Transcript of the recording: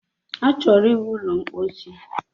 Achọrọ ịwu ụlọ ḿkpóchí